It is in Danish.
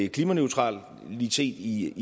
klimaneutralitet i